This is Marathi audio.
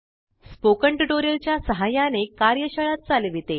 स्पोकन टयूटोरियल च्या सहाय्याने कार्यशाळा चालविते